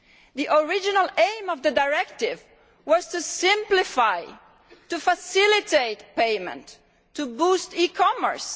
The original aim of the directive was to simplify to facilitate payment, to boost e commerce.